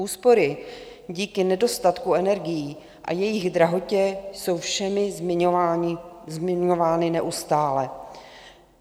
Úspory díky nedostatku energií a jejich drahotě jsou všemi zmiňovány neustále.